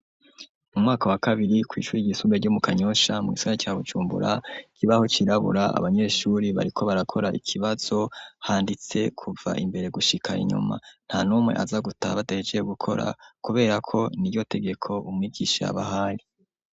Mu mwaka wa kabiri kwicuri ryiisumbuye ryo mu kanyosha mugisagara ca bujumbura ikibaho cirabura abanyeshuri bariko barakora ikibazo handitseko kuva imbere gushika inyuma nta numwe aza gutaha badahejeje gukora kuberako niryo tegeko umwigisha yaabahaye.